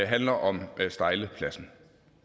handler om stejlepladsen